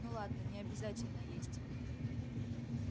ну ладно не обязательно есть